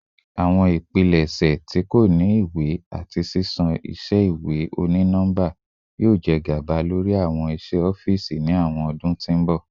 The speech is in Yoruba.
Awọn ipilẹṣẹ ti ko ni iwe ati ṣiṣan iṣẹ iwe oni nọmba yoo jẹ gaba lori awọn iṣe ọfiisi ni awọn ọdun ti n bọ